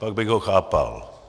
Pak bych ho chápal.